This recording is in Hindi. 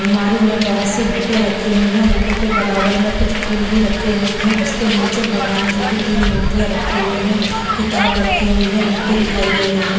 अल्मारी में बहुत सी बुके रखी हुई हैं बुकों के बराबर में कुछ फूल भी रखे हुए हैं उसके नीचे भगवान जी की तीन मूर्तियां रखी हुई हैं किताब रखी हुई है घंटी दिखाई दे रही है।